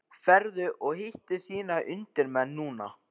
Ferðu og hittir þína undirmenn núna?